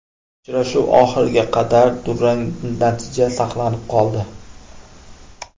Uchrashuv oxiriga qadar durang natija saqlanib qoldi.